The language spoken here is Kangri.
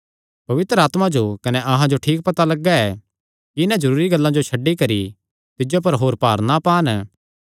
पवित्र आत्मा जो कने अहां जो ठीक पता लग्गा ऐ कि इन्हां जरूरी गल्लां जो छड्डी करी तिज्जो पर होर भार ना पान